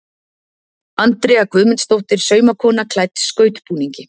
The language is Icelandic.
Andrea Guðmundsdóttir saumakona klædd skautbúningi.